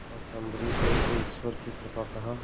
भक्त अम्बरीश ने इसे ईश्वर की कृपा कहा